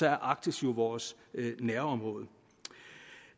er arktis jo vores nærområde